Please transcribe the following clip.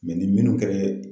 ni minnu kɛrɛ